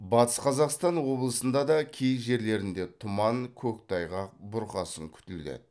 батыс қазақстан облысында да кей жерлерінде тұман көктайғақ бұрқасын күтіледі